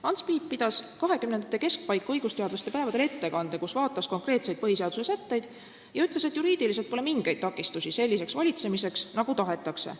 Ants Piip pidas 1920. aastate keskpaiku õigusteadlaste päevadel ettekande, kus vaatles konkreetseid põhiseaduse sätteid, ja ütles, et juriidiliselt pole mingeid takistusi selliseks valitsemiseks, nagu tahetakse.